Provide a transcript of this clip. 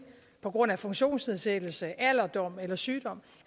på grund af funktionsnedsættelse alderdom eller sygdom